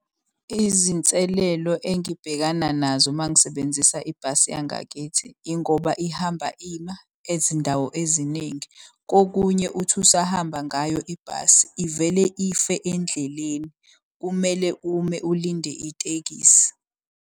Izinselelo engibhekana nazo mangisebenzisa ibhasi yangakithi ingoba ihamba ima ezindawo eziningi. Kokunye uthi usahamba ngayo ibhasi ivele ife endleleni. Kumele ume ulinde itekisi.